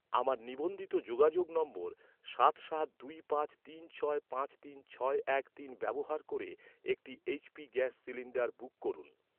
আমার নিবন্ধিত যোগাযোগ নম্বর সাত সাত দুই পাঁচ তিন ছয় পাঁচ তিন ছয় এক তিন ব্যবহার করে একটি এইচ.পি গ্যাস সিলিণ্ডার বুক করুন।